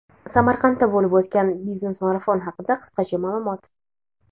Samarqandda bo‘lib o‘tgan "Biznes Marafon" haqida qisqacha ma’lumot.